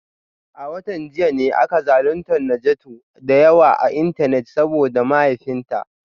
A watan jiya ne aka zaluntar Najatu da yawa a Intanet saboda mahaifinta